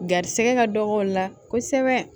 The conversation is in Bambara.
Garisɛgɛ ka dɔgɔ o la kosɛbɛ